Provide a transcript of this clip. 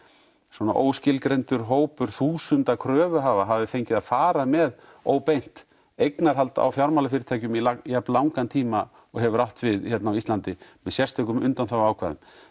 svona óskilgreindur hópur þúsunda kröfuhafa hafi fengið að fara með óbeint eignahald á fjármálafyrirtækjum í jafnlangan tíma og hefur átt við hérna á Íslandi með sérstökum undanþáguákvæðum